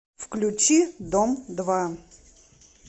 включи дом два